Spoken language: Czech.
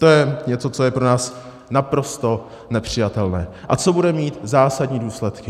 To je něco, co je pro nás naprosto nepřijatelné a co bude mít zásadní důsledky.